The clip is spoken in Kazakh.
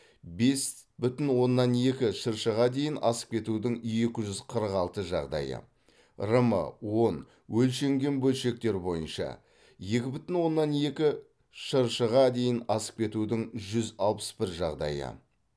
бес бүтін оннан екі шрш ға дейін асып кетудің екі жүз қырық алты жағдайы рм он өлшенген бөлшектер бойынша екі бүтін оннан екі шрш ға дейін асып кетудің жүз алпыс бір жағдайы